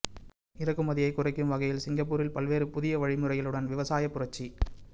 இறக்குமதியை குறைக்கும் வகையில் சிங்கப்பூரில் பல்வேறு புதிய வழிமுறைகளுடன் விவசாய புரட்சி